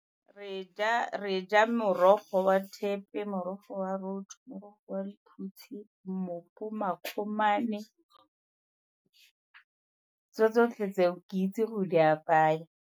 Re ja morogo wa thepe, morogo wa roto, morogo wa lephutse, mmopo, makgomane tso tsotlhe tseo ke itse go di apaya.